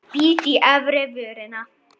Bít í efri vörina.